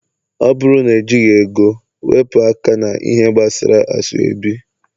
ọ bụrụ n ejigi ego, weepu aka na -ihe gbasara asoebi